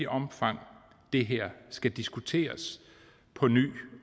omfang det her skal diskuteres på ny